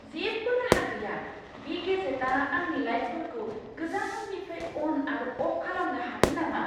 जेबो राहा गैया! बे गेजेटआ आंनि लाइटफोरखौ गोजाननिफ्राय अन आरो अफ खालामनो हागोन नामा!